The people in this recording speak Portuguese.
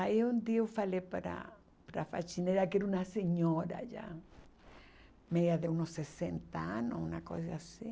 Aí um dia eu falei para a faxineira, que era uma senhora já, meia de uns sessenta anos, uma coisa assim,